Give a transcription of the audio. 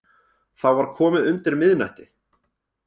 Þá var komið undir miðnætti